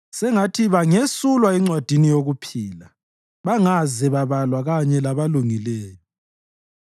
Sengathi bangesulwa encwadini yokuphila bangaze babalwa kanye labalungileyo.